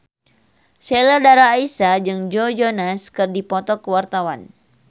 Sheila Dara Aisha jeung Joe Jonas keur dipoto ku wartawan